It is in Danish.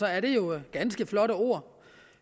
at det jo er ganske flotte ord